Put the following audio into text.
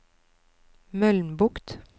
Mølnbukt